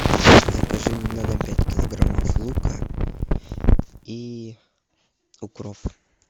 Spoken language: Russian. закажи мне на дом пять килограммов лука и укроп